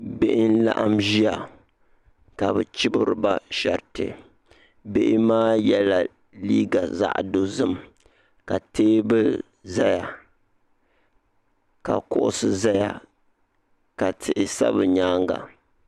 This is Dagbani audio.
bihi n laɣim zaya ka be chɛbiriba shɛtɛ bihi maa yɛla liga zaɣ dozim ka tɛbuli zaa ka kuɣisi zaya ma tihi sa be nyɛŋa